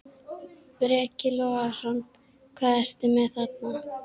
Breki Logason: Hvað ertu með þarna?